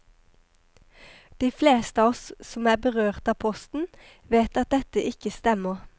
De fleste av oss som er berørt av posten, vet at dette ikke stemmer.